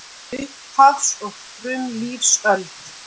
Upphafs- og frumlífsöld